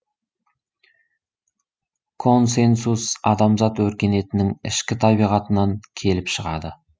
консенсус адамзат өркениетінің ішкі табиғатынан келіп шығады